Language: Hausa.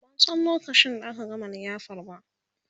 ban San lokacin da aka gama liyafar ba